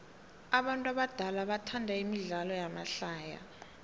abantu abadala bathanda imidlalo yamahlaya